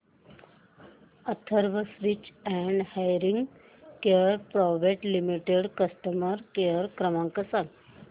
Atharva speech and hearing care private limited चा customer care क्रमांक सांगा